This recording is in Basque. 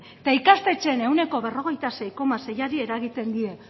eta ikastetxeen ehuneko berrogeita sei koma seiari eragiten die